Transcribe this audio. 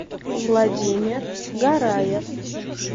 владимир гараев